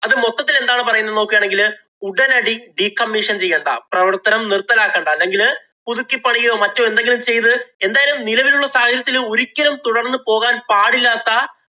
അത് മൊത്തത്തില്‍ എന്താണ് പറയുന്നത് എന്ന് നോക്കുകയാണെങ്കില്‍ ഉടനടി decommission ചെയ്യേണ്ട, പ്രവര്‍ത്തനം നിര്‍ത്തലാക്കണ്ട, അല്ലെങ്കില്‍ പുതുക്കി പണിയുകയോ, മറ്റോ എന്തെങ്കിലും ചെയ്ത് എന്തായാലും നിലവിലുള്ള സാഹചര്യത്തില്‍ ഒരിക്കലും തുടര്‍ന്നു പോകാന്‍ പാടില്ലാത്ത